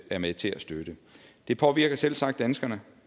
er med til at støtte det påvirker selvsagt danskerne